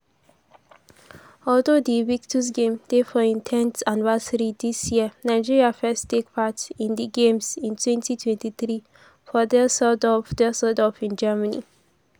although di invictus games dey for im 10th anniversary dis year nigeria first take part in di games in twenty twenty three for dã¼sseldorf dã¼sseldorf in germany.